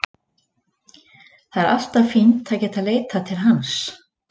Það er alltaf fínt að geta leitað til hans.